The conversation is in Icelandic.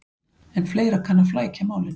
En fleira kann að flækja málin.